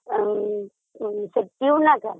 ସେ ଟ୍ୟୁବ ନା କଣ